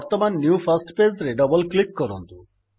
ବର୍ତ୍ତମାନ new first pageରେ double click କରନ୍ତୁ